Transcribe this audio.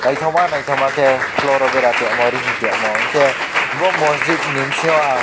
naithoma naithoma khe floor o bera toimo rihingtoimo hingkhe boro masjid ni bisingo ang.